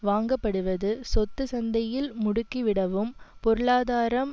வாங்கப்படுவது சொத்துச் சந்தையில் முடுக்கிவிடவும் பொருளாதாரம்